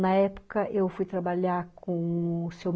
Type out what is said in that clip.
Na época eu fui trabalhar com o Sr.